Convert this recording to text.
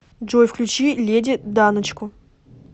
джой включи леди даночку